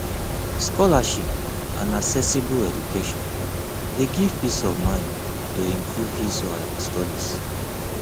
scholarship and accessible education de give peace of mind to improve his or her studies